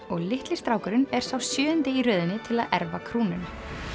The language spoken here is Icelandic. og litli strákurinn er sá sjöundi í röðinni til að erfa krúnuna